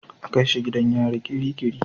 A kai shi gidan yari kirikiri.